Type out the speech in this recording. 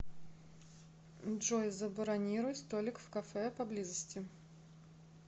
джой забронируй столик в кафе по близости